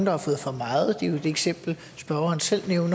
har fået for meget det er jo et eksempel spørgeren selv nævner